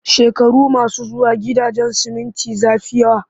Shekaru masu zuwa, gidajen siminti za fi yawa